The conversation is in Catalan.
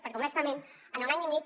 perquè honestament en un any i mig